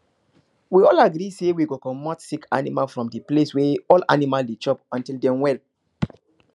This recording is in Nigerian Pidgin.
we all agree say we go comot sick animal from the place wey all animal dey chop until dem well